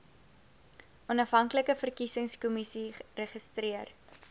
onafhanklike verkiesingskommissie registreer